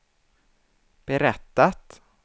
berättat